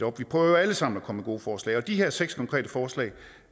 op vi prøver jo alle sammen at komme med gode forslag og de her seks konkrete forslag